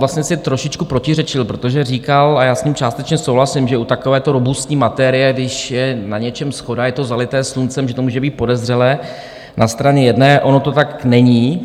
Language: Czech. Vlastně si trošičku protiřečil, protože říkal, a já s ním částečně souhlasím, že u takovéto robustní materie, když je na něčem shoda, je to zalité sluncem, že to může být podezřelé, na straně jedné - ono to tak není.